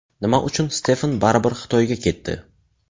Nima uchun Stefan baribir Xitoyga ketdi?